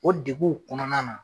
O deguw kɔnɔna na